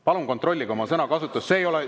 Palun kontrollige oma sõnakasutust!